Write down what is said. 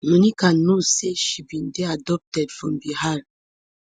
monica know say she bin dey adopted from bihar